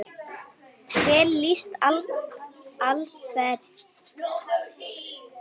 Hvernig lýst Alfreð á það?